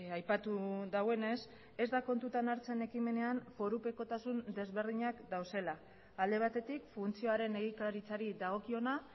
aipatu duenez ez da kontutan hartzen ekimenean forupekotasun desberdinak daudela alde batetik funtzioaren egikaritzari dagokiona